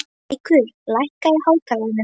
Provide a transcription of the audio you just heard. Hrærekur, lækkaðu í hátalaranum.